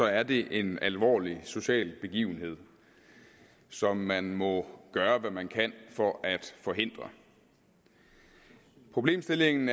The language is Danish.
er det en alvorlig social begivenhed som man må gøre hvad man kan for at forhindre problemstillingen